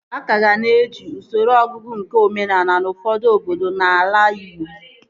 A kaga na-eji usoro ọnụọgụgụ nke omenaala n'ufọdụ obodo n'ala Ịgbo